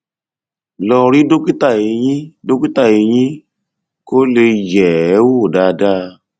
lọ rí dókítà eyín dókítà eyín kó lè yẹ ẹ wò dáadáa